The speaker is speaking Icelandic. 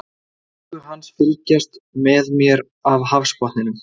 Augu hans fylgjast með mér af hafsbotninum.